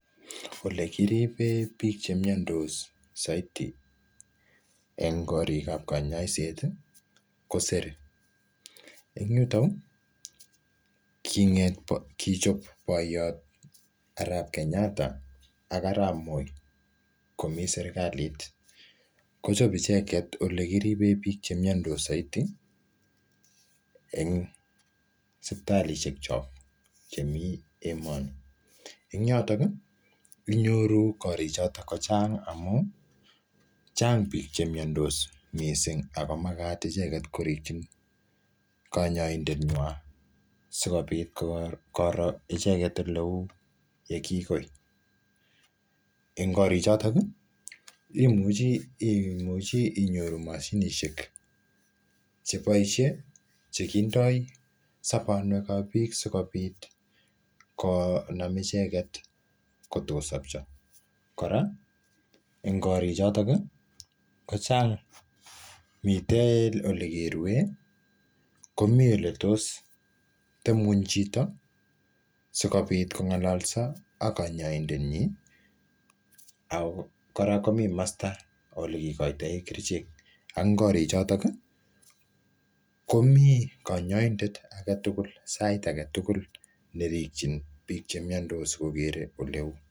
Olekiriben bik chemiondos soiti en korikab konyoiset kosere, en yutok konget kichobe boyot Arab Kenyatta ak arab Moi koimii serikalit kochome icheket olekiriben bik chmiondos en sipitalishek chok chemii emoni, en yotok kii inyoruu korik choton kochang amun Cheng bik chemiondos missing ako makat icheket korigii konyoindenywan sikopit koroi icheket oleu yekikoi. En korik choton nii imuchii inyoru moshinishek cheboishe chekindo sobonywekab bik sikopit konam icheket kotokosobcho. Koraa en korik choton kochang miten olekerue komiii oletos tep ngweny chito sikopit kongololso ak konyoindenyin ak Koraa komii komostab nekikoinen kerichek ak korik chotok kii komii konyoindet agetukul sait agetukul nerigin bik chemiondos sikokere oleu.